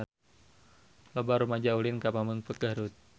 Loba rumaja ulin ka Pamengpeuk Garut